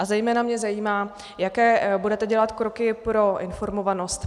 A zejména mě zajímá, jaké budete dělat kroky pro informovanost.